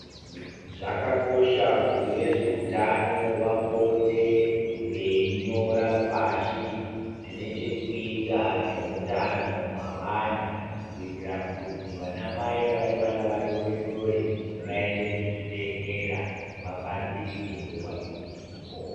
Zvakakosha kuti vezveutano vapote veinyora pashi zvine chekuita nehutano hwavana kuitira kuti vana mai vane vana vadori dori vaende kuzvibhedhlera vabatsirike nguva iripo.